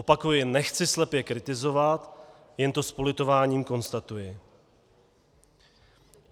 Opakuji, nechci slepě kritizovat, jen to s politováním konstatuji.